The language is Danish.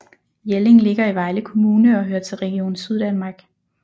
Jelling ligger i Vejle Kommune og hører til Region Syddanmark